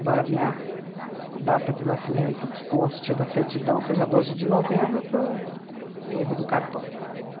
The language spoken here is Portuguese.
Embora a minha data de nascimento, que conste da certidão, seja doze de novembro, por erro do cartório.